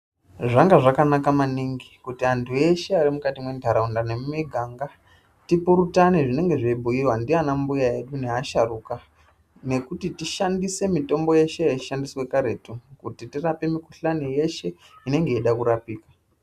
Zvanga zvakanaka maningi kuti antu eshe arimukati mentaraunda nemumiganga tipurutane zvinenge zveibhuyiya ndiana mbuya edu neasharuka nekuti tishandise mitombo yeshe yaishandiswa karetu kuti tirape mikhuhlani yeshe inenge yeida kurapiwa.